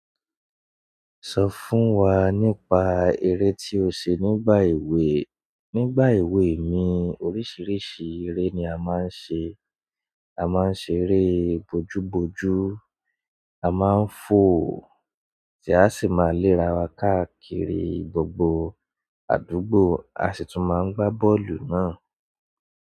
Sọ fún wa nípa eré tí o ṣe nígbà èwe nígbà èwe mi oríṣiríṣi eré ní a máa ń ṣe. A máa ń ṣe eré bojúbojú, a máa ń fò tí a sì má lè ara wa káàkiri gbogbo àdúgbò. A sì tún máa ń gba bọ́ọ̀lù náà.